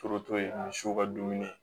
misiw ka dumuni